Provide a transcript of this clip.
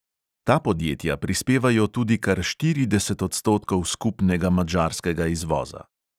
Ta podjetja prispevajo tudi kar štirideset odstotkov skupnega madžarskega izvoza.